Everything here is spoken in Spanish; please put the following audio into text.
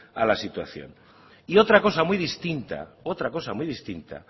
a la situación y otra cosa muy distinta otra cosa muy distinta